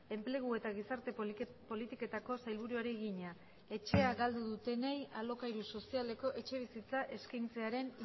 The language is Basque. enplegu eta gizarte politiketako sailburuari egina etxea galdu dutenei alokairu sozialeko etxebizitza eskaintzearen